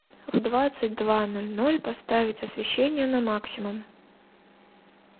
в двадцать два ноль ноль поставить освещение на максимум